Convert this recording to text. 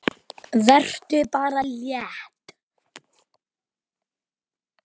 Vertu bara létt!